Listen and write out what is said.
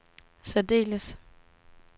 særdeles